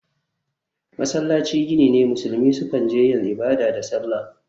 Masallaci gini ne musulmi sukan je yin ibada da sallah.